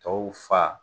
Tɔw fa